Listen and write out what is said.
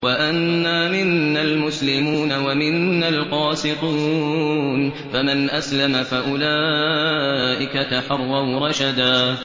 وَأَنَّا مِنَّا الْمُسْلِمُونَ وَمِنَّا الْقَاسِطُونَ ۖ فَمَنْ أَسْلَمَ فَأُولَٰئِكَ تَحَرَّوْا رَشَدًا